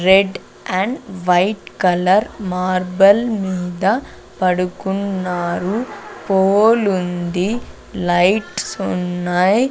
Rate and white colour marble మీద పడుకున్నారు పోలుంది లైట్స్ ఉన్నాయ్.